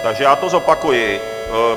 Takže já to zopakuji.